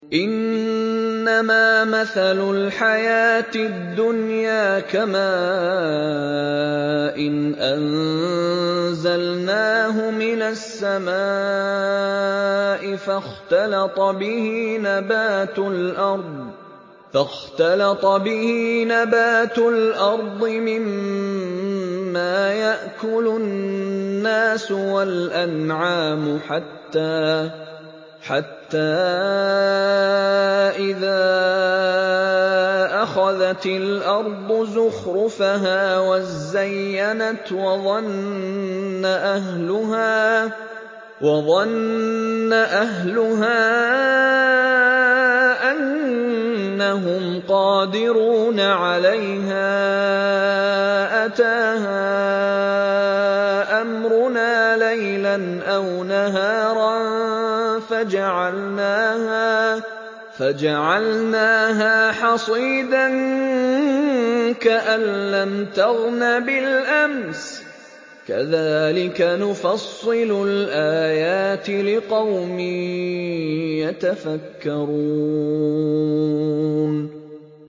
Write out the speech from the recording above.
إِنَّمَا مَثَلُ الْحَيَاةِ الدُّنْيَا كَمَاءٍ أَنزَلْنَاهُ مِنَ السَّمَاءِ فَاخْتَلَطَ بِهِ نَبَاتُ الْأَرْضِ مِمَّا يَأْكُلُ النَّاسُ وَالْأَنْعَامُ حَتَّىٰ إِذَا أَخَذَتِ الْأَرْضُ زُخْرُفَهَا وَازَّيَّنَتْ وَظَنَّ أَهْلُهَا أَنَّهُمْ قَادِرُونَ عَلَيْهَا أَتَاهَا أَمْرُنَا لَيْلًا أَوْ نَهَارًا فَجَعَلْنَاهَا حَصِيدًا كَأَن لَّمْ تَغْنَ بِالْأَمْسِ ۚ كَذَٰلِكَ نُفَصِّلُ الْآيَاتِ لِقَوْمٍ يَتَفَكَّرُونَ